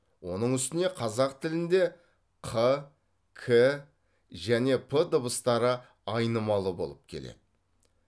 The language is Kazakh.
оның үстіне қазақ тілінде қ к және п дыбыстары айнымалы болып келеді